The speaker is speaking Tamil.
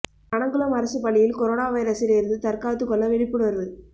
பனங்குளம் அரசு பள்ளியில் கொரோனா வைரசில் இருந்து தற்காத்து கொள்ள விழிப்புணர்வு